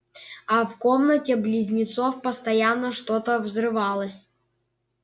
а в комнате близнецов постоянно что-то взрывалось